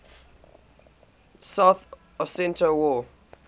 south ossetia war